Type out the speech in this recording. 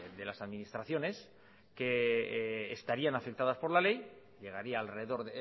de las administraciones que estarían afectadas por la ley llegaría al rededor